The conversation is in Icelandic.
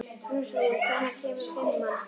Róslín, hvenær kemur fimman?